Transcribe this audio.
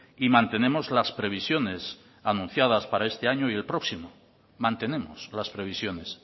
y mantenemos las previsiones anunciadas para este año y el próximo mantenemos las previsiones